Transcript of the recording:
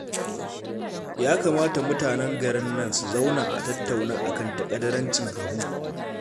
Ya kamata mutanen garin nan su zauna a tattauna a kan taƙadarancin Habu